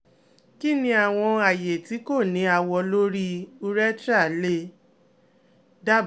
Kini awọn aaye ti ko ni awọ lori urethra le daba?